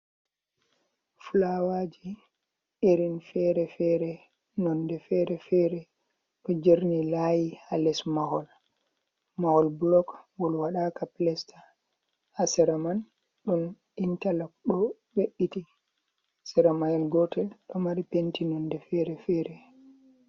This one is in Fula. Fulawaji irin fere-fere nonde fere-fere, ɗo jerni layi ha les mahol, mahol bulok ngol waɗaka pilesta ha sera man ɗum intalok bo be’itti sera mahol gotel ɗo mari penti nonde fere-fere.